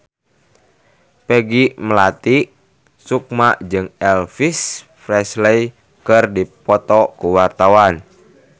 Peggy Melati Sukma jeung Elvis Presley keur dipoto ku wartawan